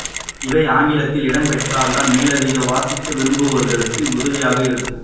இவை ஆங்கிலத்தில் இடம் பெற்றால் தான் மேலதிகமாக வாசிக்க விரும்புகிறவர்களுக்கு உதவியாக இருக்கும்